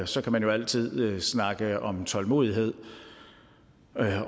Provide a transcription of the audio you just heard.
så kan man jo altid snakke om tålmodighed